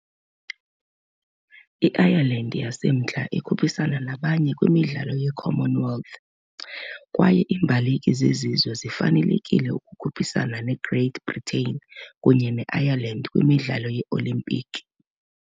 I-Ireland yaseMntla ikhuphisana ngabanye kwiMidlalo ye-Commonwealth, kwaye iimbaleki zesizwe zifanelekile ukukhuphisana ne -Great Britain kunye ne-Ireland kwiMidlalo yeOlimpiki.